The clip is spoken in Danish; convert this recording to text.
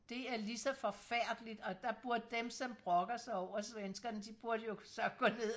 det er lige så forfærdeligt og der burde dem som brokker sig over svenskerne de burde jo så gå ned